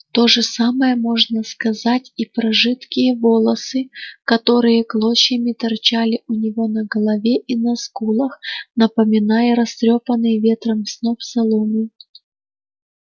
то же самое можно сказать и про жидкие волосы которые клочьями торчали у него на голове и на скулах напоминая растрёпанный ветром сноп соломы